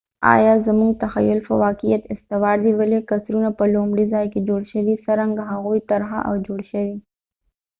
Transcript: آیا زموږ تخیل په واقعیت استوار دي ولې قصرونه په لومړي ځای کې جوړ شوي څرنګه هغوۍ طرحه او جوړ شوي